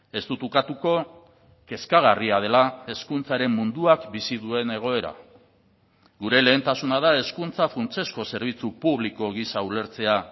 ez dut ukatuko kezkagarria dela hezkuntzaren munduak bizi duen egoera gure lehentasuna da hezkuntza funtsezko zerbitzu publiko gisa ulertzea